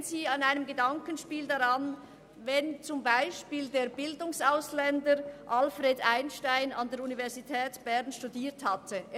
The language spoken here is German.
Denken Sie in einem Gedankenspiel daran, dass zum Beispiel der Bildungsausländer Albert Einstein an der Universität Bern hätte studieren können.